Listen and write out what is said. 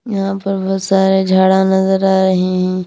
यहां पर बहुत सारे झाडा नजर आ रहे हैं।